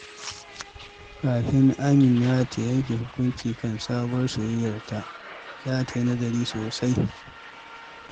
Kafin Amina ta yanke hukunci kan sabuwar soyayyarta, za ta yi nazari sosai.